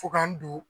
Fo ka n don